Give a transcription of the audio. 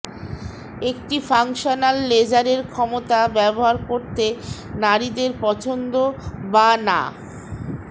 একটি ফাংশনাল লেজারের ক্ষমতা ব্যবহার করতে নারীদের পছন্দ বা না